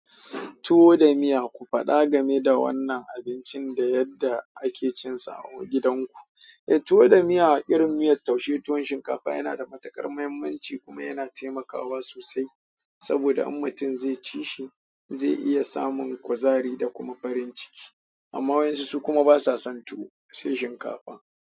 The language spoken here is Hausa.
Tuwo da miya ku faɗa gameda wannan abincin da yadda ake cinsa ah gidan ku, eh tuwa da miya irin miyar taushe tuwon shinkafa yana da matuƙar muhimmanci kuma yana temakawa sosai saboda in mutum zai ci shi zai iya samun kuzari da kuma farin ciki amma wasu su kuma basa son tuwo sai shinkafa.